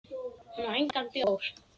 Hún á engan bjór.